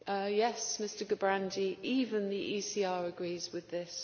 Yes, Mr Gerbrandy, even the ECR agrees with this.